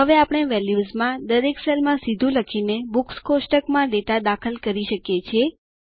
હવે આપણે વેલ્યુઝ માં દરેક સેલમાં સીધું લખીને બુક્સ કોષ્ટક માં ડેટા દાખલ કરી શકીએ છીએ